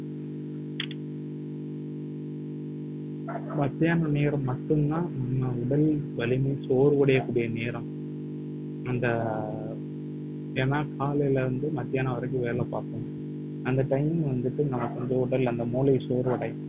மத்தியானம் நேரம் மட்டும்தான் நம்ம உடல் வலிமை சோர்வடையக்கூடிய நேரம் அந்த ஏன்னா காலையில இருந்து மத்தியானம் வரைக்கும் வேலை பார்ப்போம் அந்த time வந்துட்டு நமக்கு வந்து உடல் அந்த மூளை சோர்வடையும்